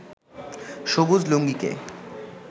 সবুজ লুঙ্গিকে